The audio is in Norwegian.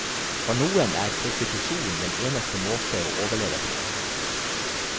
For noen er prostitusjon den eneste måte å overleve på.